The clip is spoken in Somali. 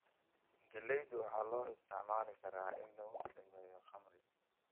Galaydu waxaa loo isticmaali karaa in lagu sameeyo khamri.